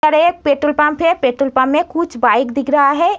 और एक petrol pump है। पेट्रोल पंप में कुछ बाइक दिख रहा हैं।